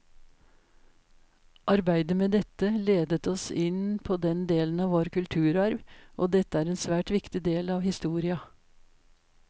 Arbeidet med dette ledet oss inn på denne delen av vår kulturarv, og dette er en svært viktig del av historia.